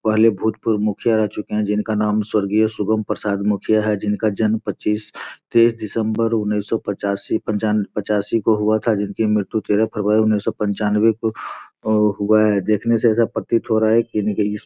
पहले भूत पूर्व मुखिया रह चुके है जिनका नाम स्वर्गीय शुभम प्रसाद मुखिया है। जिनका जन्म पच्चीस- तेईस दिसम्बर उन्नीस सौ पचासी- पंचयनबे- पचासी को हुआ था। जिनकी मृत्यु तेरह फरवरी उन्नीस सौ पंचानवे को को हुआ है। देखने से ऐसा प्रतीत हो रहा है